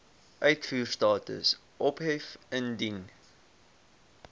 uitvoerstatus ophef indien